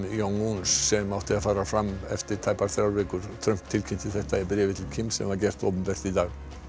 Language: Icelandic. sem átti að fara fram eftir tæpar þrjár vikur Trump tilkynnti þetta í bréfi til Kims sem var gert opinbert í dag